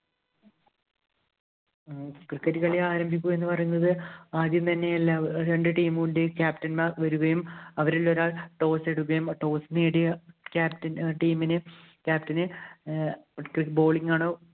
Cricket കളി ആരംഭിക്കുക എന്ന് പറയുന്നത് ആദ്യം തന്നെ എല്ലാ, രണ്ടു team ഇന്‍റെയും captain മാര്‍ വരികയും, അവരിലൊരാള്‍ toss ഇടുകയും, toss നേടിയ captain, team ഇന് captain ന് cri~bowling ആണോ,